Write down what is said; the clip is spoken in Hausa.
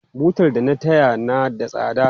Butar da na taya na da tsada.